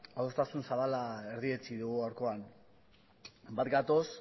adostasun zabala erdietsi dugu gaurkoan bat gatoz